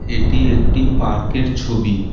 এটি একটি পার্কের ছবি।